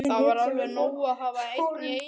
Það er alveg nóg að hafa einn í einu svona.